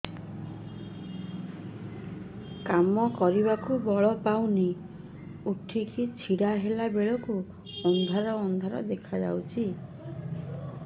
କାମ କରିବାକୁ ବଳ ପାଉନି ଉଠିକି ଛିଡା ହେଲା ବେଳକୁ ଅନ୍ଧାର ଅନ୍ଧାର ଦେଖା ଯାଉଛି